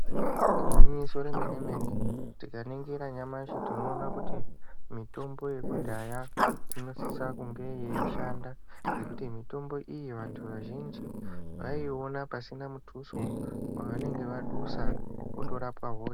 Igwinyiso remene-mene, tikaningira nyamashi tinoona kuti mitombo yekudhaya inosisa kunge yeishanda ngekuti mitombo iyo vantu vazhinji vaiiona pasina mutuso wavanenge vadusa, otorapwa hosha.